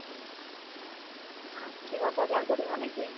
অহ, কিবা বজাৰ কৰিবা নে কি?